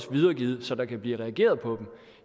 videregivet så der kan blive reageret på dem